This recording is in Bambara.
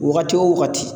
Wagati wo wagati